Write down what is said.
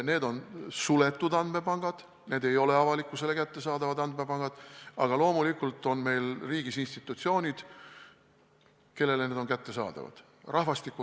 Need on suletud ega ole avalikkusele kättesaadavad andmepangad, aga loomulikult on meil riigis institutsioonid, kellele need on kättesaadavad.